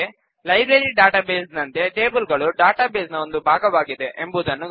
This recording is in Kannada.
ಹಾಗೆ ಲೈಬ್ರರಿ ಡಾಟಾ ಬೇಸ್ ನಂತೆ ಟೇಬಲ್ ಗಳು ಡಾಟಾ ಬೇಸ್ ನ ಒಂದು ಭಾಗವಾಗಿದೆ